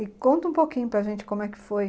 E conta um pouquinho para gente como é que foi.